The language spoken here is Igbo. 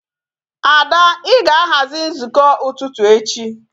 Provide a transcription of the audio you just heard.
Ada I ga-aghazi nzukọ ụtụtụ echi